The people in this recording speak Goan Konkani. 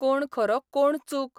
कोण खरो, कोण चूक?